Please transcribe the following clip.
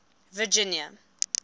virginia